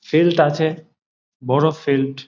Field আছে বড় field.